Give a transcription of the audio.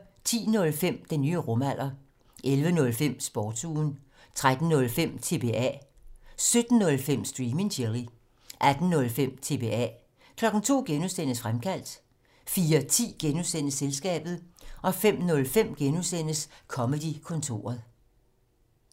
10:05: Den nye rumalder 11:05: Sportsugen 13:05: TBA 17:05: Stream and Chill 18:05: TBA 02:00: Fremkaldt (G) 04:10: Selskabet (G) 05:05: Comedy-kontoret (G)